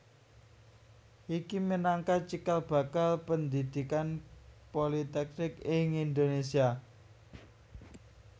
Iki minangka cikal bakal pendhidhikan politeknik ing Indonésia